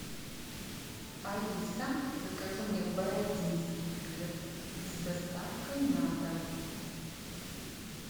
алиса закажи мне бородинский хлеб с доставкой на дом